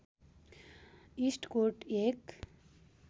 इस्टकोट एक